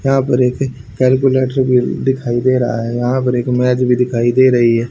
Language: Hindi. यहां पर एक कैलकुलेटर भी दिखाई दे रहा है यहां पर एक मैट भी दिखाई दे रही है।